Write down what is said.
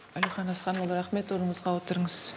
әлихан асханұлы рахмет орныңызға отырыңыз